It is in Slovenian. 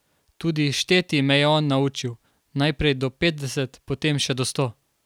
Tudi šteti me je on naučil, najprej do petdeset, potem še do sto.